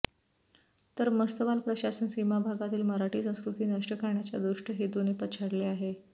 तर मस्तवाल प्रशासन सीमाभागातील मराठी संस्कृती नष्ट करण्याच्या दुष्ट हेतून पछाडले आहे